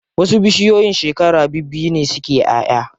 Wasu bishiyoyin shekara bibbiyu ne suke ƴaʼya.